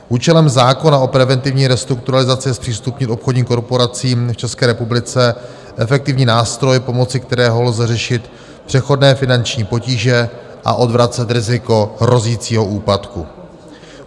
Účelem zákona o preventivní restrukturalizaci je zpřístupnit obchodním korporacím v České republice efektivní nástroje pomoci, kterými lze řešit přechodné finanční potíže a odvracet riziko hrozícího úpadku.